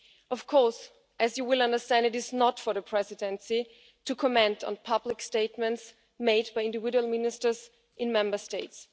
Of course, as you will understand, it is not for the Presidency to comment on public statements made by individual ministers in Member States.